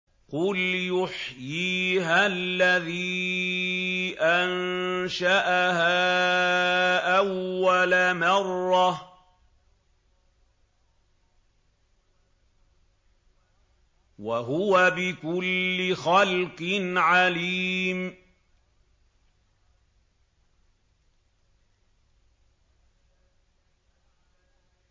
قُلْ يُحْيِيهَا الَّذِي أَنشَأَهَا أَوَّلَ مَرَّةٍ ۖ وَهُوَ بِكُلِّ خَلْقٍ عَلِيمٌ